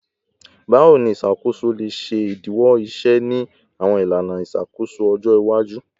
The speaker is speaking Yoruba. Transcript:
Bawo ni iṣakoso le ṣe idiwọ iṣẹ ni awọn ilana iṣakoso ọjọ iwaju?